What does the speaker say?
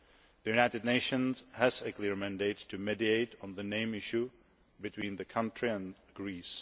The United Nations has a clear mandate to mediate on the name issue between the country and Greece.